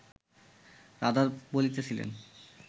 রাধা বলিতেছেন